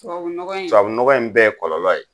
Tubabuɔgɔ in? Tubabunɔgɔ in bɛɛ ye kɔlɔlɔ ye.